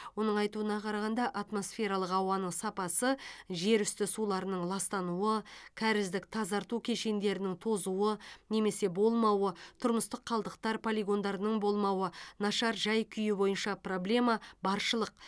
оның айтуына қарағанда атмосфералық ауаның сапасы жерүсті суларының ластануы кәріздік тазарту кешендерінің тозуы немесе болмауы тұрмыстық қалдықтар полигондарының болмауы нашар жай күйі бойынша проблема баршылық